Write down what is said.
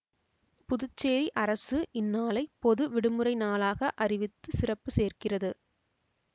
புதுச்சேரி அரசு இந்நாளை பொது விடுமுறை நாளாக அறிவித்து சிறப்பு சேர்க்கிறது